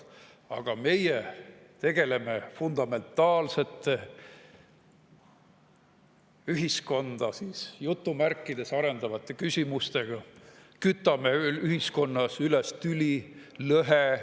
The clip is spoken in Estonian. Aga meie tegeleme fundamentaalsete ühiskonda "arendavate" küsimustega, kütame ühiskonnas üles tüli ja lõhesid.